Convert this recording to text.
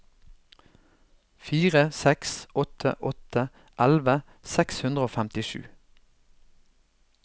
fire seks åtte åtte elleve seks hundre og femtisju